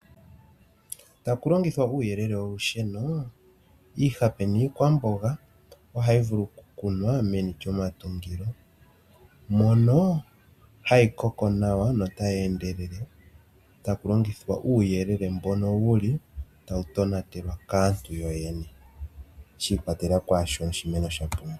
Taku longithwa uuyelele wolusheno, iihape niikwamboga ohayi vulu okukunwa meni lyomatungo, mono hayi koko nawa notayi endelele taku longithwa uuyelele mbono wu li tawu tonatelwa kaantu yoyene shi ikwatelela kwaa shoka oshimeno sha pumbwa.